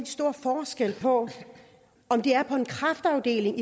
stor forskel på om det er på en kræftafdeling